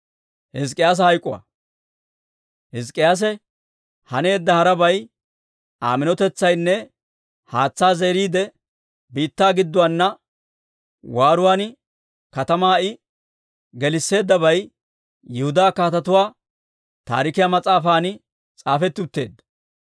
Hizk'k'iyaase haneedda harabay, Aa minotetsaynne haatsaa zeeriide, biittaa gidduwaanna waaruwaan katamaa I gelisseeddabay Yihudaa Kaatetuwaa Taarikiyaa mas'aafan s'aafetti utteedda.